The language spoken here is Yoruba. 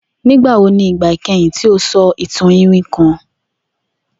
Nigbawo ni igba ikẹhin ti o sọ itan iwin kan?